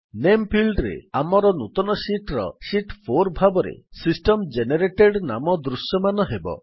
ନାମେ ଫିଲ୍ଡ୍ ରେ ଆମର ନୂତନ ଶୀଟ୍ ର ଶୀତ୍ 4 ଭାବରେ ସିଷ୍ଟମ୍ ଜେନେରେଟେଡ୍ ନାମ ଦୃଶ୍ୟମାନ ହେବ